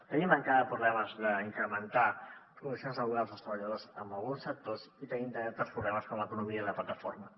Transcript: tenim encara problemes d’incrementar les condicions laborals dels treballadors en alguns sectors i tenim també altres problemes com l’economia de plataforma